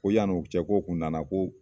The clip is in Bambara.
Ko yan'o cɛ k'o kun nana ko